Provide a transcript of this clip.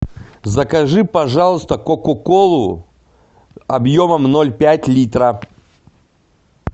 закажи пожалуйста кока колу объемом ноль пять литра